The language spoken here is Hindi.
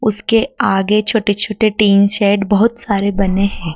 उसके आगे छोटे छोटे टीन सेट बहुत सारे बने हैं।